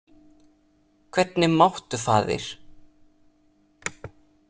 Hvernig máttu, faðir?